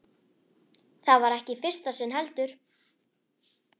Það var ekki í fyrsta sinn, heldur.